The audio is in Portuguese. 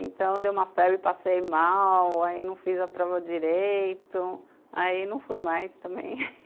Então, deu uma febre, passei mal, aí não fiz a prova direito, aí não fui mais também